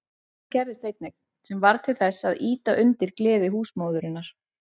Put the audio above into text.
Annað gerðist einnig, sem varð til þess að ýta undir gleði húsmóðurinnar.